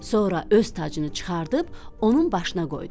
Sonra öz tacını çıxarıb onun başına qoydu.